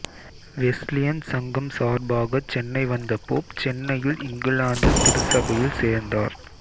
Wesleyan சங்கம் சார்பாகச் சென்னை வந்த போப் சென்னையில் இங்கிலாந்து திருச்சபையில் சேர்ந்தார்